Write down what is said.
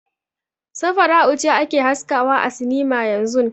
Safara'u ce ake haskawa a sinima yanzun.